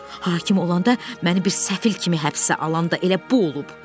Hakim olanda məni bir səfil kimi həbsə alan da elə bu olub.